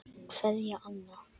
Kveðja, Anna.